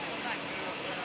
Ay sağ ol.